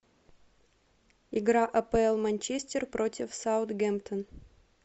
игра апл манчестер против саутгемптон